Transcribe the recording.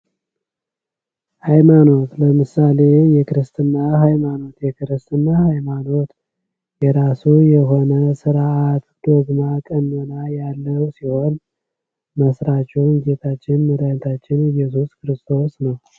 ሐይማኖት ለምሳሌ የክርስትና ሃይማኖት ይህ ሃይማኖት የራሱ የሆነ ስርዓት ዶግማ፣ ቅነና ያለው ሲሆን መስራቹም ጌታችን መዳሃኒታችን ኢየሱስ ክርስቶስ ነው።